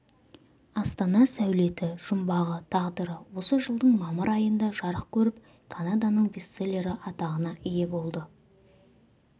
астана сәулеті жұмбағы тағдыры осы жылдың мамыр айында жарық көріп канаданың бестселлері атағына ие болды